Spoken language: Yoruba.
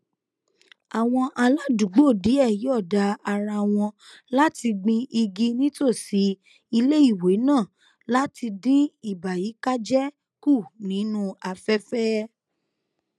àwọn aládùúgbò díẹ yòọda ara wọn láti gbin igi nítòsí iléìwé náà láti dín ìbàyíkájé kù nínú afẹfẹ